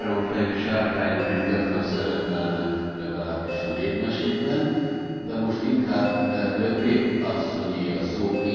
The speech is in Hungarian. A háromfejű sárkányok is gyakran szerepelnek, legalábbis a népmesékben, de most inkább Le Grip asszonyé a szó.